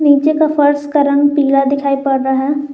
पीछे का फर्श का रंग पीला दिखाइ पड़ रहा है।